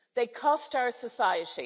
They cost our society.